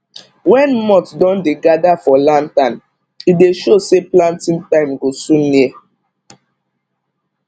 when moth don dey gather for lantern e dey show say planting time go soon near